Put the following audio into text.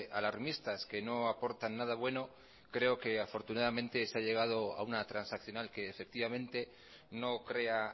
alarmistas que no aportan nada bueno creo que afortunadamente se ha llegado a una transaccional que efectivamente no crea